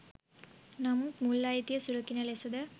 නමුත් මුල් අයිතිය සුරකින ලෙසද